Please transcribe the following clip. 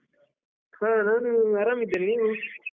ಹಾ ನಾನು ಆರಾಮ್ ಇದ್ದೇನೆ, ನೀವು?